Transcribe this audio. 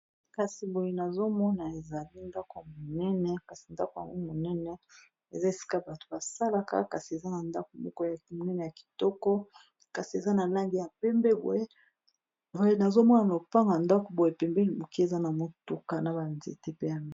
kasi boye nazomona ezali ndako monene kasi ndako yango monene eza esika bato basalaka kasi eza na ndako moko ya monene ya kitoko kasi eza na langi ya mpembe oyeoye nazomona na kopanga ndako boye pembeli moke eza na motuka na banzete pe ami